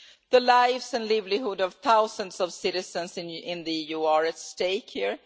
The lives and livelihoods of thousands of citizens in the EU are at stake here.